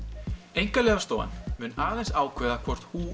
Einkaleyfastofan mun aðeins ákveða hvort